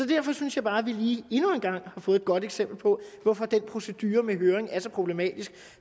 derfor synes jeg bare at vi endnu en gang har fået et godt eksempel på hvorfor den procedure med høring er så problematisk